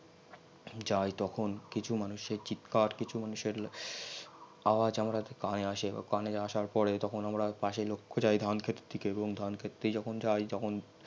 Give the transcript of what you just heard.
যাই তখন কিছু মানুষের চিৎকার কিছু মানুষের আওয়াজ আমাদের কানে আসে এবং আওয়াজ আসার পরে আমরা যাই ধান খেতের দিকে এবং ধান খেত দিয়ে যখন যাই